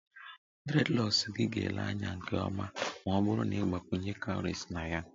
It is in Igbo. Dreadlocks gị ga-ele anya nke ọma ma ọ bụrụ na ị gbakwunye cowries na ya